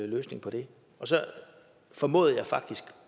løsning på det så formåede jeg faktisk